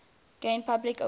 gain public awareness